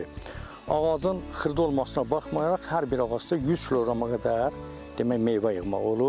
ağacın xırda olmasına baxmayaraq hər bir ağacda 100 kq-a qədər demək meyvə yığmaq olur.